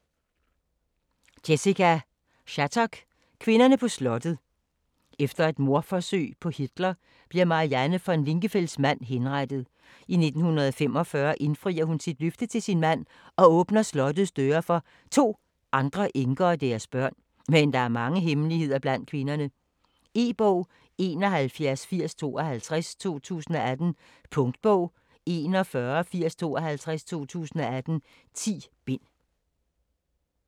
Shattuck, Jessica: Kvinderne på slottet Efter et mordforsøg på Hitler, bliver Marianne von Lingenfels mand henrettet. I 1945 indfrier hun sit løfte til sin mand og åbner slottets døre for 2 andre enker og deres børn, men der er mange hemmeligheder mellem kvinderne. E-bog 718052 2018. Punktbog 418052 2018. 10 bind.